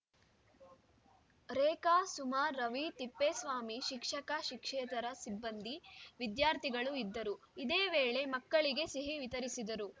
ರೇಖಾ ಸುಮಾ ರವಿ ತಿಪ್ಪೇಸ್ವಾಮಿ ಶಿಕ್ಷಕಶಿಕ್ಷಕೇತರ ಸಿಬ್ಬಂದಿ ವಿದ್ಯಾರ್ಥಿಗಳು ಇದ್ದರು ಇದೇ ವೇಳೆ ಮಕ್ಕಳಿಗೆ ಸಿಹಿ ವಿತರಿಸಿದರು